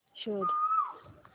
शोध